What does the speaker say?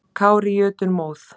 Kári í jötunmóð.